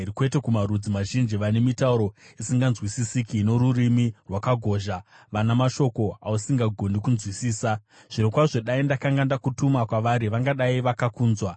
kwete kumarudzi mazhinji vane mitauro isinganzwisisiki norurimi rwakagozha, vana mashoko ausingagoni kunzwisisa. Zvirokwazvo dai ndakanga ndakutuma kwavari, vangadai vakakunzwa.